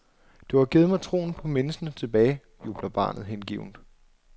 Du har givet mig troen på menneskene tilbage, jubler barnet hengivent.